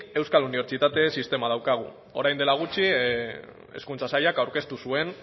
euskal unibertsitate sistema daukagu orain dela gutxi hezkuntza sailak aurkeztu zuen